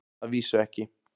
Að vísu ekki.